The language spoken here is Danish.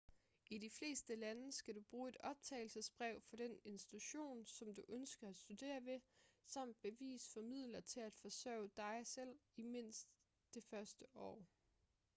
i de fleste lande skal du bruge et optagelsesbrev fra den institution som du ønsker at studere ved samt bevis for midler til at forsørge dig selv i mindst det første år